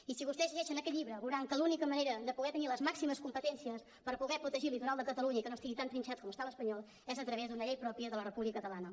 i si vostès llegeixen aquest llibre veuran que l’única manera de poder tenir les màximes competències per poder protegir el litoral de catalunya i que no estigui tan trinxat com està l’espanyol és a través d’una llei pròpia de la república catalana